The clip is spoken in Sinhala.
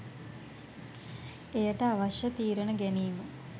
එයට අවශ්‍ය තීරණ ගැනීම